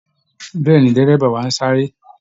Bẹ́ẹ̀ ni, dẹ́rẹ́bà wa ń sáré